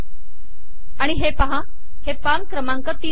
आणि हे पहा हे पान क्रमांक तीन वर आहे